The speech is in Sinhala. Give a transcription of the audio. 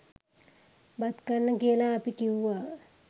බත් කන්න කියල අපි කිව්වා.